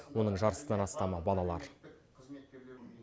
оның жартысынан астамы балалар